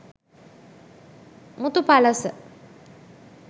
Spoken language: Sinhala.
muthu palasa